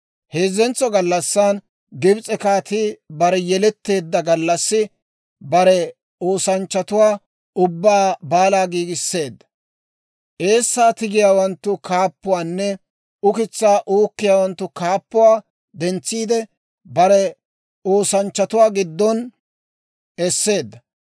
Heezzentso gallassan Gibs'e kaatii bare yeletteedda gallassi bare oosanchchatuwaa ubbaw baalaa giigisseedda. Eessaa tigiyaawanttu kaappuwaanne ukitsaa uukkiyaawanttu kaappuwaa dentsiide, bare oosanchchatuwaa giddon esseedda.